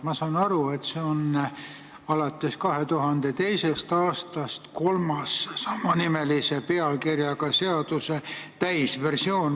Ma saan aru, et alates 2002. aastast on see kolmas sama pealkirjaga seaduse täisversioon.